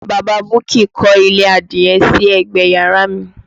Bàbá Buki kọ́ ilé adìye sí ẹ̀gbẹ yàrá mi